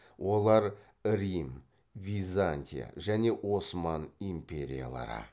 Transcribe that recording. олар рим византия және осман империялары